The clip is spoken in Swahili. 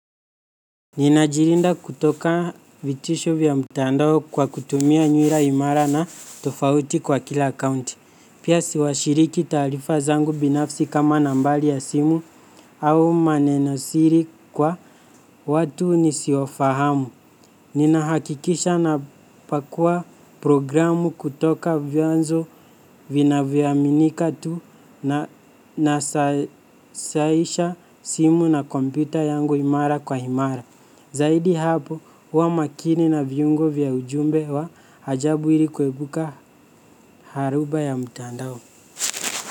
Ninajilinda kutoka vitisho vya mtandao kwa kutumia nyura imara na tofauti kwa kila akaunti. Pia siwashiriki taarifa zangu binafsi kama nambali ya simu au manenosiri kwa watu nisiofahamu. Ninahakikisha napakua programu kutoka vyanzo vinavyoaminika tu na nasahisha simu na kompyuta yangu imara kwa imara. Zaidi hapo huwa makini na viungo vya ujumbe wa ajabu ili kuebuka haruba ya mtandao.